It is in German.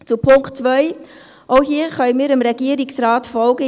Zu Punkt 2: Auch hier können wir dem Regierungsrat folgen.